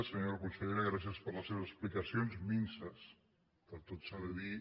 senyora consellera grà·cies per les seves explicacions minses tot s’ha de dir